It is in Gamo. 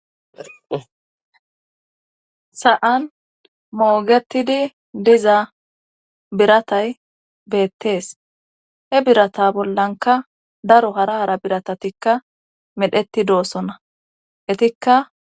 sa7an moogetidi diza biratay beettees he birata bollanka daro hara haara biratatikka medheti doosonna etikka